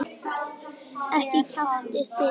Ekki kjaftið þið.